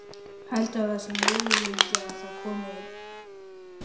Heldurðu að það sé möguleiki að það hefði komið ein